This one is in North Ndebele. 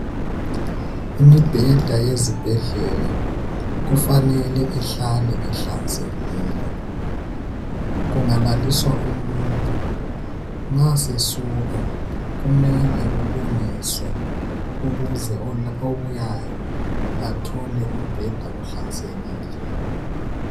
Imibheda yezibhedlela kufanele ihlale ihlanzekile. Kungalaliswa umuntu nxa sesuka kumele obuyayo athole umbheda uhlanzekile.